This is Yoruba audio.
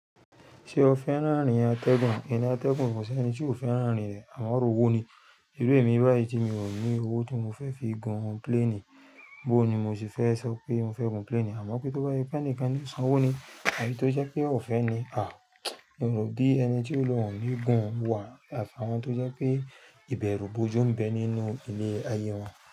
Ṣé o fẹ́ràn ààrin atẹ́gùn? Ẹni atẹ́gùn kò sí ẹni tí ò fẹ́ràn ààrin rẹ̀ àmọ́ ọ̀rọ̀ owó ni. Iru emi báyìí tí mi ò ní owó tí mo fẹ́ fi gun plane. Bó ni mo sì fẹ́ sọ pé mo fẹ́ gun plane àmọ́ pé tó bá je pẹ́ enikan ni sanwó ni. Àbí tó jẹ́ pé o ò fẹ́ ni? Mi ò rò bí ẹni tí yo ni ohun oní gun wà àfi awon tó jẹ́ pé ìbẹ̀rù bojú ń bẹ nínú ilé ayé wọn.